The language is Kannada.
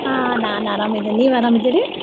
ಹಾ ನಾನ್ ಆರಾಮ್ ಇದೀನ್ ನೀವ್ ಆರಾಮ್ ಅದಿರೀ?